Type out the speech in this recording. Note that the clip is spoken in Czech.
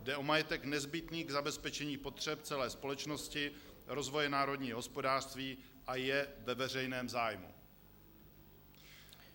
Jde o majetek nezbytný k zabezpečení potřeb celé společnosti, rozvoje národního hospodářství a je ve veřejném zájmu."